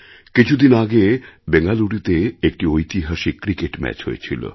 কিছু দিন আগে ব্যাঙ্গালুরুতে একটি ঐতিহাসিক ক্রিকেট ম্যাচ হয়েছিল